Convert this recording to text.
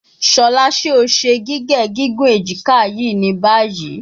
Shola, ṣe o ṣe gige gigun ejika yii ni bayi?